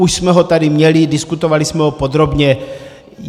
Už jsme ho tady měli, diskutovali jsme ho podrobně.